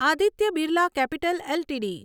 Aditya Birla Capital LTD